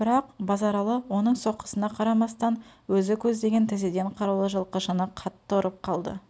бірақ базаралы оның соққысына қарамастан өзі көздеген тізеден қарулы жылқышыны қатты ұрып қалды